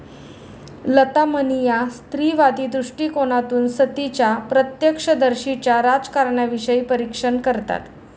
लता मणी या स्त्रीवादी दृष्टिकोनातून सतीच्या प्रत्यक्षदर्शींच्या राजकारणाविषयी परीक्षण करतात.